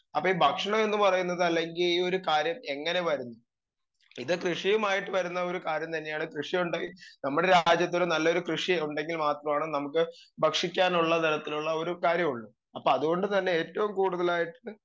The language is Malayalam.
സ്പീക്കർ 2 അപ്പൊ ഭക്ഷണം ന്ന് പറയുന്നത് അല്ലെങ്കി ഈ ഒരു കാര്യം എങ്ങനെ വരും ഇത് കൃഷിയുമായിട്ട് വരുന്ന ഒരു കാര്യം തന്നെയാണ് കൃഷിയുണ്ടെ നമ്മുടെ രാജ്യത്തിന് നല്ലൊരു ഉണ്ടെങ്കിൽ മാത്രമാണ് നമുക്ക് ഭക്ഷിക്കാനുള്ള തരത്തിലുള്ള ഒരു കാര്യമുള്ളു അപ്പൊ അതോണ്ട് തന്നെ ഏറ്റോം കൂടുതലായിട്ട്